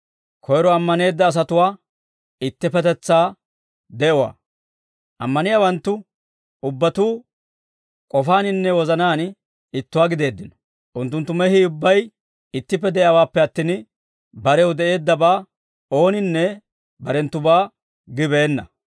Ammaniyaawanttu ubbatuu k'ofaaninne wozanaan ittuwaa gideeddino. Unttunttu mehii ubbay ittippe de'iyaawaappe attin, barew de'eeddabaa ooninne barenttubaa gibeenna.